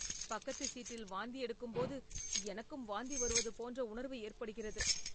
பக்கத்து சீட்டில் வாந்தி எடுக்கும் போது எனக்கும் வாந்தி வருவது போன்ற உணர்வு ஏற்படுகிறது.